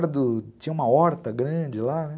Tinha uma horta grande lá, né?